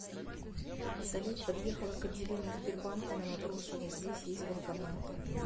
салют подъехала к отделению сбербанка на матросова здесь есть банкоматы